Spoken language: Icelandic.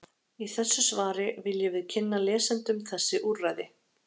Í þessu svari viljum við kynna lesendum þessi úrræði.